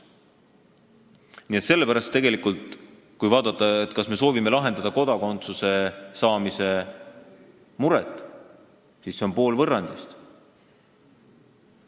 Nii et kui vaadata, kas me soovime lahendada kodakondsuse saamise muret, siis see eelnõu on pool võrrandist.